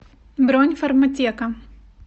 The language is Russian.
бронь фарматека